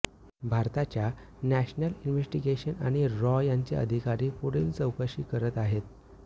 भारताच्या national investigation आणि रॉ यांचे अधिकारी पुढील चौकशी करत आहेत